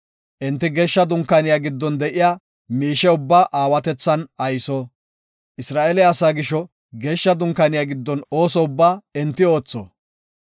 Enti Geeshsha Dunkaaniya giddon de7iya miishe ubbaa aawatethan ayso. Isra7eele asaa gisho Geeshsha Dunkaaniya giddon ooso ubbaa enti oothonna.